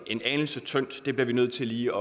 en anelse tynde så det bliver vi nødt til lige